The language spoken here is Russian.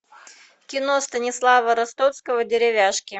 кино станислава ростовского деревяшки